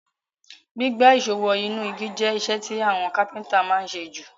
Gbígbá ìsó wo inú igi je isẹ́ ti àwon Kápẹ́ńtà ma n sé ju